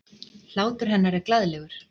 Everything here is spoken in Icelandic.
Hlátur hennar er glaðlegur.